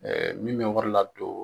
min bɛ wari ladon.